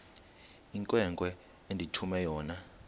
inkwenkwe endithume yona